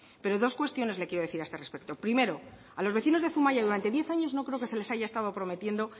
pero dos cuestiones le quiero decir a este respecto primero a los vecinos de zumaia durante diez años no creo que se les haya estado prometiendo